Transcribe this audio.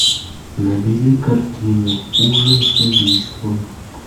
набери картину ужин с убийством